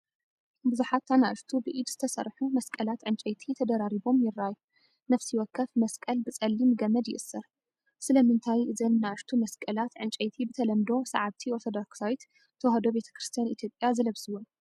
ብዙሓት ንኣሽቱ ብኢድ ዝተሰርሑ መስቀላት ዕንጨይቲ ተደራሪቦም ይረኣዩ። ነፍሲ ወከፍ መስቀል ብጸሊም ገመድ ይእሰር፣ . ስለምንታይ እዘን ንኣሽቱ መስቀላት ዕንጨይቲ ብተለምዶ ሰዓብቲ ኦርቶዶክሳዊት ተዋህዶ ቤተ ክርስቲያን ኢትዮጵያ ዝለብስወን?